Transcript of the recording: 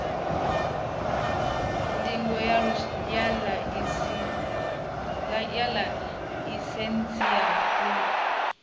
ndingo ya ḽaisentsi ya u